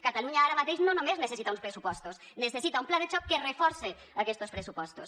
catalunya ara mateix no només necessita uns pressupostos necessita un pla de xoc que reforce aquestos pressupostos